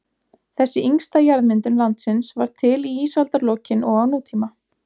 Þessi yngsta jarðmyndun landsins varð til í ísaldarlokin og á nútíma.